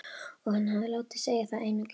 Og hann hefði látið sig það einu gilda.